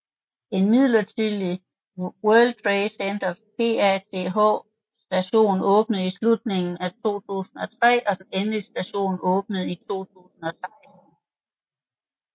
En midlertidig World Trade Center PATH station åbnede i slutningen af 2003 og den endelig station åbnede i 2016